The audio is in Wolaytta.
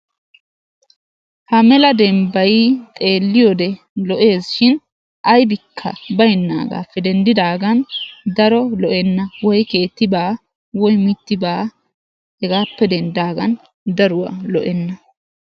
Ha mela dembbay xeelliyode lo''ees shin aybikka baynnaagaappe denddidaagan daro lo'enna woy keetti baa woy mitti baa hegaappe denddidaagan daruwa lo''enna.